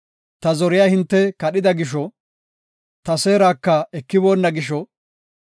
Ta zoriya hinte kadhida gisho; ta seeraka ekiboonna gisho;